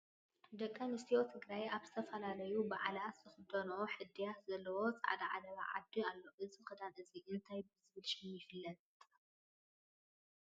ደቂ ኣንስትዮ ትግራይ ኣብ ዝተፈላለዩ በዓላት ዝኽደንኦ ሕድያት ዘለዎ ፃዕዳ ዓለባ ዓዲ ኣሎ፡፡ እዚ ክዳን እዚ እንታይ ብዝብል ሽም ይፍለጥ?